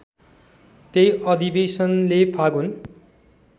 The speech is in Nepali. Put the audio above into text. त्यही अधिवेशनले फागुन